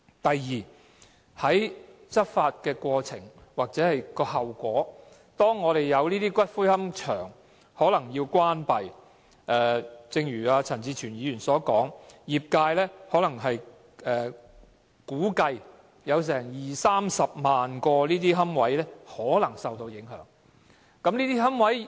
第二，執法的後果是有龕場可能要關閉，正如陳志全議員所說，業界估計有二三十萬個龕位可能受到影響。